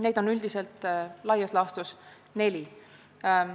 Neid on laias laastus neli.